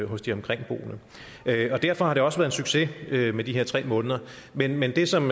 hos de omkringboende derfor har det også været en succes med de her tre måneder men men det som